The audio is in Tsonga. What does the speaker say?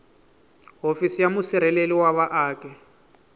hofisi ya musirheleli wa vaaki